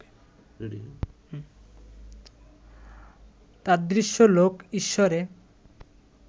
তাদৃশ লোক ঈশ্বরে